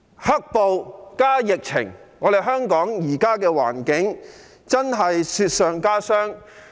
"黑暴"加上疫情，令香港現時的環境雪上加霜。